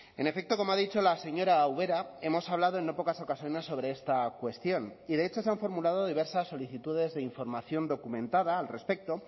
en efecto como ha dicho la señora ubera hemos hablado en no pocas ocasiones sobre esta cuestión y de hecho se han formulado diversas solicitudes de información documentada al respecto